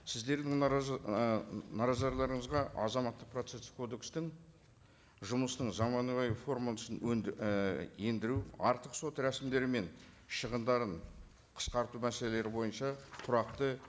сіздердің азаматтық процесстік кодекстің жұмысының заманауи формасын артық сот рәсімдері мен шығындарын қысқарту мәселелері бойынша тұрақты